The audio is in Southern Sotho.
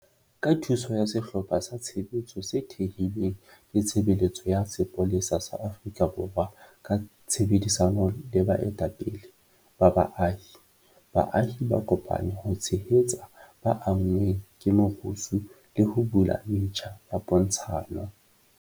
Ka thuso ya sehlopha sa tshebetso se thehilweng ke Tshebeletso ya Sepolesa sa Afrika Borwa ka tshebedisano le baetapele ba baahi, baahi ba kopane ho tshehetsa ba anngweng ke merusu le ho bula metjha ya pontshano.